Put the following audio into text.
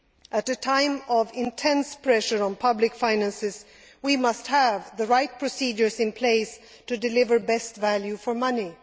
At a time of intense pressure on public finances, we must have the right procedures in place to deliver best value for money.